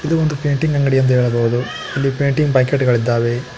ಇದು ಒಂದು ಪೇಂಟಿಂಗ್ ಅಂಗಡಿಯೆಂದು ಹೇಳಬಹುದು ಇದರಲ್ಲಿ ಪೇಂಟಿಂಗ್ ಬಕೆಟ್ ಗಳಿದ್ದಾವೆ.